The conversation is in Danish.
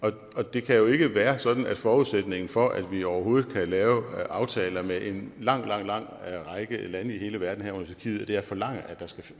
det kan jo ikke være sådan at forudsætningen for at vi overhovedet kan lave aftaler med en lang lang lang række lande i hele verden herunder tyrkiet er at forlange at der skal